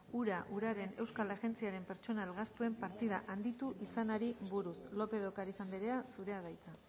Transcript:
ura uraren euskal agentziaren pertsonal gastuen partida handitu izanari buruz lópez de ocariz andrea zurea da hitza